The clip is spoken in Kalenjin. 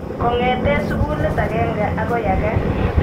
Kong'ete sukulit akenge akoi ake.